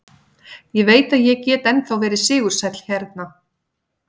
Ég veit að ég get ennþá verið sigursæll hérna.